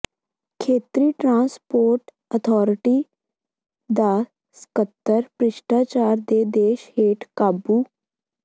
ਖੇਤਰੀ transport authority ਦਾ ਸਕੱਤਰ ਭ੍ਰਿਸ਼ਟਾਚਾਰ ਦੇ ਦੋਸ਼ ਹੇਠ ਕਾਬੂ